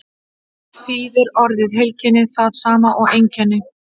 þýðir orðið heilkenni það sama og einkenni